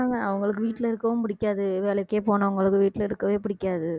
அவங்களுக்கு வீட்ல இருக்கவும் புடிக்காது வேலைக்கே போனவங்களுக்கு வீட்டுல இருக்கவே புடிக்காது